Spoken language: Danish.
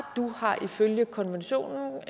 du har ifølge konventionen